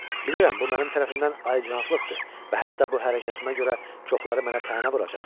Bilirəm bu mənim tərəfimdən ayicanablıqdır və hətta bu hərəkətimə görə çoxları mənə tənə vuracaq.